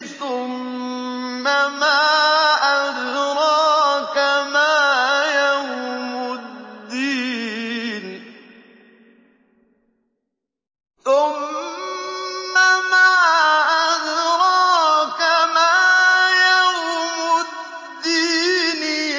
ثُمَّ مَا أَدْرَاكَ مَا يَوْمُ الدِّينِ